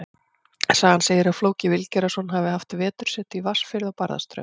Sagan segir að Flóki Vilgerðarson hafi haft vetursetu í Vatnsfirði á Barðaströnd.